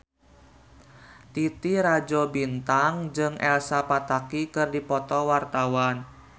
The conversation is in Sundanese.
Titi Rajo Bintang jeung Elsa Pataky keur dipoto ku wartawan